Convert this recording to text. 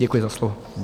Děkuji za slovo.